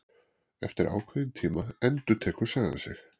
Eftir ákveðinn tíma endurtekur sagan sig.